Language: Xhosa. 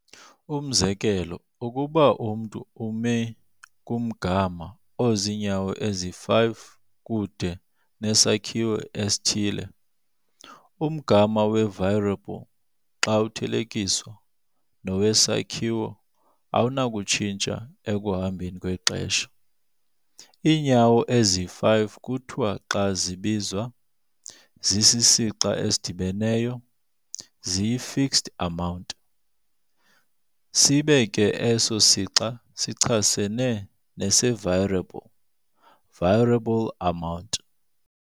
Umzekelo, ukuba umntu umi kumgama oziinyawo ezi-5 kude nesakhiwo esithile, umgama wevariable xa uthelekiswa nowesakhiwo awunakutshintsha ekuhambeni kwexesha. Iinyawo ezi-5 kuthiwa xa zibizwa zisisixa esidibeneyo, ziyifixed amount, sibe ke eso sixa sichasene nesevariable, variable amount.